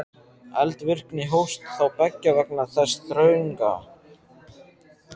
Eldvirkni hófst þá beggja vegna þess þrönga